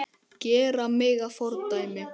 Gera mig að fordæmi?